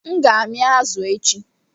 M ga-amị azu echi